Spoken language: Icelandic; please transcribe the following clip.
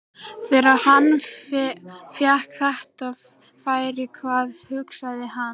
Þegar hann fékk þetta færi, hvað hugsaði hann?